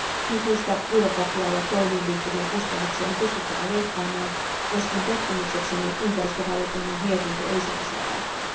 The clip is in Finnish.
Nykyistä byrokratiaan ja toimiin liittyviä kustannuksia on pystyttävä leikkaamaan, joskin pettymyksekseni ympäristövaliokunnan mietintö ei sitä saa aikaan.